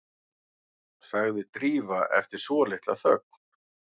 sagði Drífa eftir svolitla þögn.